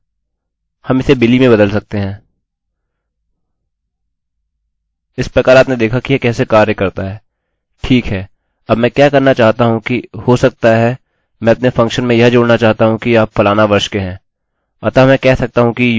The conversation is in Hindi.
ठीक है अब मैं क्या करना चाहता हूँ कि हो सकता है मैं अपने फंक्शनfunction में यह जोड़ना चाहता हूँ कि आप फलाना वर्ष के हैं अतः मैं कह सकता हूँ कि you are age years old